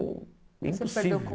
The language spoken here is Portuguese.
impossível. Você perdeu o